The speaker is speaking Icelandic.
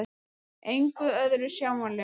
Engu öðru sjáanlegu.